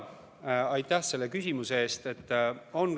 Aitäh selle küsimuse eest!